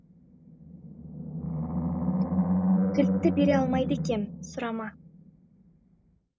кілтті бере алмайды екем сұрама